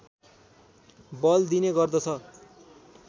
बल दिने गर्दछ